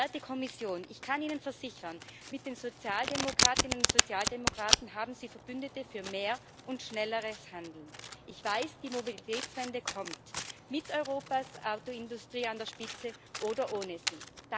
Werte Kommission, ich kann Ihnen versichern Mit den Sozialdemokratinnen und Sozialdemokraten haben Sie Verbündete für mehr und schnelleres Handeln. Ich weiß Die Mobilitätswende kommt mit Europas Autoindustrie an der Spitze oder ohne sie.